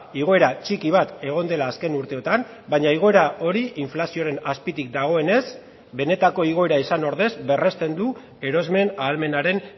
igoera txiki bat egon dela azken urteotan baina igoera hori inflazioaren azpitik dagoenez benetako igoera izan ordez berresten du erosmen ahalmenaren